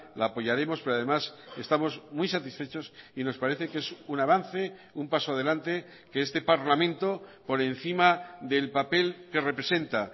la apoyaremos pero además estamos muy satisfechos y nos parece que es un avance un paso adelante que este parlamento por encima del papel que representa